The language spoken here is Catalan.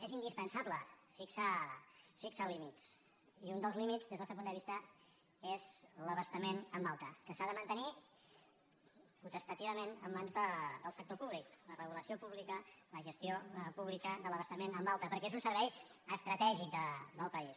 és indispensable fixar límits i un dels límits des del nostre punt de vista és l’abastament en alta que s’ha de mantenir potestativament en mans del sector públic la regulació pública la gestió pública de l’abastament en alta perquè és un servei estratègic del país